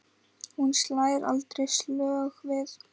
Hún slær aldrei slöku við.